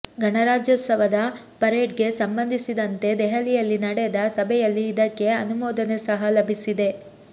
ಗಣಾರಾಜ್ಯೋತ್ಸವದ parade ಗೆ ಸಂಬಂಧಿಸಿದಂತೆ ದೆಹಲಿಯಲ್ಲಿ ನಡೆದ ಸಭೆಯಲ್ಲಿ ಇದಕ್ಕೆ ಅನುಮೋದನೆ ಸಹ ಲಭಿಸಿದೆ